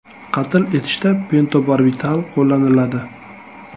Qatl etishda pentobarbital qo‘llaniladi.